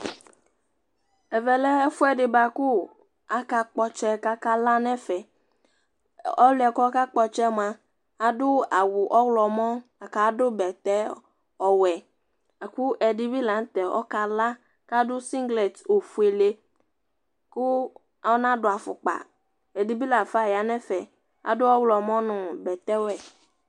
Ɛvɛ lɛ ɛfʋɛdi bua kʋ aka kp'ɔtsɛ k'aka la n'ɛfɛ Ɔlʋ yɛ k'ɔka kpɔ ɔtsɛ yɛ mua, adʋ awʋ ɔɣlɔmɔ la k'adʋ bɛtɛ ɔwɛ, lakʋ ɛdi bi la n'tɛ ɔka la, k'adʋ singlet ofuele, kʋ ɔnadʋ afʋkpa Ɛdi bi la fa ya n'ɛfɛ, adʋ ɔɣlɔmɔ nʋ bɛtɛ wɛ